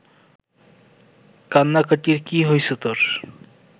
কান্নাকাটির কি হইছে তর